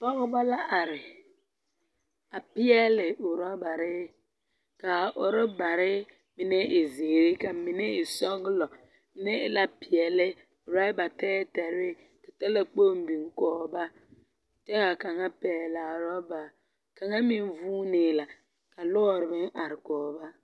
Pɔgeba la are, a peɛle orɔbare. Kaa orɔbare mine e zeere ka mine e sɔgelɔ, mine e la peɛle, raba tɛɛtɛɛre ka talkpoŋ biŋ kɔge ba, kyɛ ka kaŋa pɛɛlaa orɔba kaŋa meŋ vuunee la ka lɔɔr meŋ are kɔge ba.